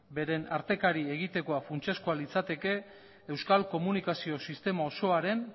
beren artekari funtsezkoa litzateke euskal komunikazio sistema osoaren